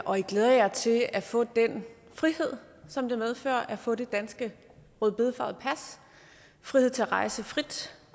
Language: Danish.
og i glæder jer til at få den frihed som det medfører at få det danske rødbedefarvede pas frihed til at rejse frit